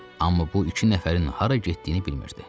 Amma bu iki nəfərin hara getdiyini bilmirdi.